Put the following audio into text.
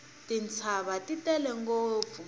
tintshava ti tele ngopfu